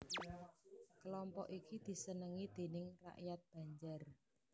Kelompok iki disenengi déning rakyat Banjar